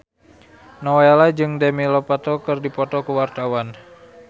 Nowela jeung Demi Lovato keur dipoto ku wartawan